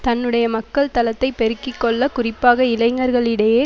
தன்னுடைய மக்கள் தளத்தை பெருக்கி கொள்ள குறிப்பாக இளைஞர்களிடையே